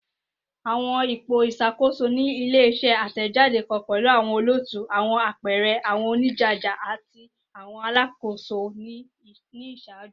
Awọn ipo iṣakoso ti ile-iṣẹ atẹjade kan pẹlu awọn olootu, awọn apẹẹrẹ, awọn onijaja, ati awọn alakoso ni iṣaaju.